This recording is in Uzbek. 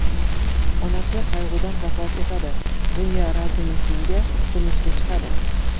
Onasi qayg‘udan vafot etadi, Dunya Razumixinga turmushga chiqadi.